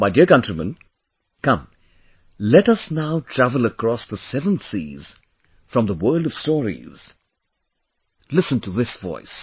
My dear countrymen, come, let us now travel across the seven seas from the world of stories, listen to this voice